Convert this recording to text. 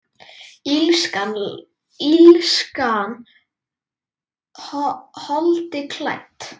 Illskan holdi klædd?